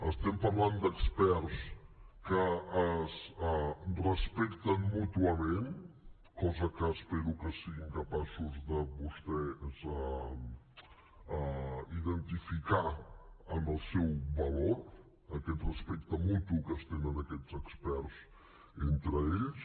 estem parlant d’experts que es respecten mútuament cosa que espero que siguin capaços de vostès identificar en el seu valor aquest respecte mutu que es tenen aquests experts entre ells